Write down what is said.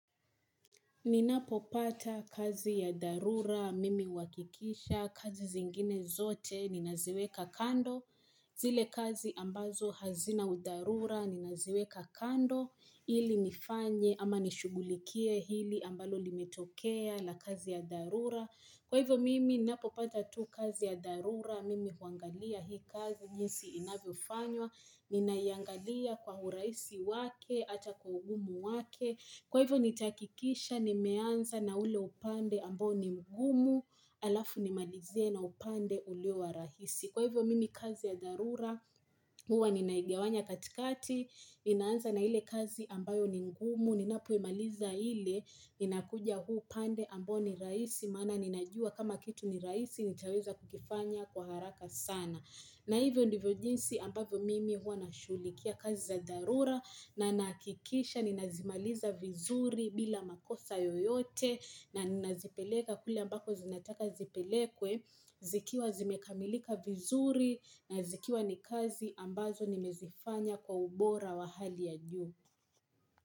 Ninapo pata kazi ya dharura. Mimi huhakikisha kazi zingine zote. Ninaziweka kando. Zile kazi ambazo hazina udarura. Ninaziweka kando. Ili nifanye ama nishugulikie hili ambalo limetokea la kazi ya dharura. Kwa hivyo mimi ninapopata tu kazi ya dharura, mimi huangalia hii kazi, jinsi inavyofanywa, ninaiangalia kwa uraisi wake, hata kwa ugumu wake, kwa hivyo nitahakikisha, nimeanza na ule upande ambao ni mgumu, alafu nimalize na upande ulio wa rahisi. Kwa hivyo mimi kazi ya dharura, huwa ninaigawanya katikati, ninaanza na ile kazi ambayo ni ngumu, ninapoimaliza ile, nina kuja huu pande ambao ni raisi, mana ninajua kama kitu ni raisi, nitaweza kukifanya kwa haraka sana. Na hivyo ndivyo jinsi ambavyo mimi huwa na shulikia kazi za dharura na nahakikisha ni nazimaliza vizuri bila makosa yoyote na nazipeleka kule ambako zinataka zipelekwe zikiwa zimekamilika vizuri na zikiwa ni kazi ambazo ni mezifanya kwa ubora wa hali ya juu.